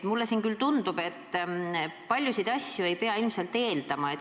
Mulle tundub, et paljusid asju ei pea eeldama.